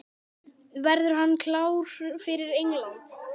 Verður hann klár fyrir England?